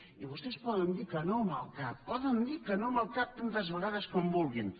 i vostès poden dir que no amb el cap poden dir que no amb el cap tantes vegades com vulguin